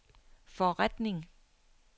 forretning